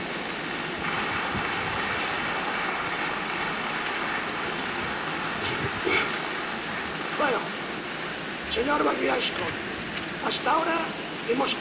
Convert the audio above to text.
Señor McMillan Scott, hasta ahora hemos complacido a los informadores. A partir de este momento, vamos a acelerar las cosas, y así, todo el mundo contento.